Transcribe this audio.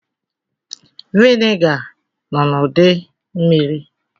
Viniga nọ n'ụdị mmiri.